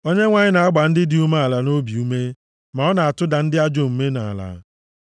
Onyenwe anyị na-agba ndị dị umeala nʼobi ume ma ọ na-atụda ndị ajọ omume nʼala.